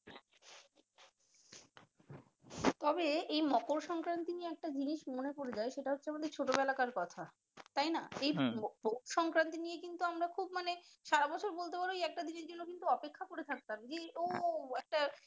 তবে এই মকরসংক্রান্তি নিয়ে একটি জিনিস মনে পরে যায় সেটা হচ্ছে আমাদের ছোট বেলাকার কথা তাইনা এই পৌষ সংক্রান্তি নিয়ে কিন্তু আমরা খুব মানি সারা বছর বলতে পারো ওই একটা দিনের অপেক্ষা করে থাকতাম ও একটা